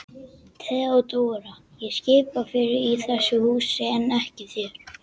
THEODÓRA: Ég skipa fyrir í þessu húsi en ekki þér.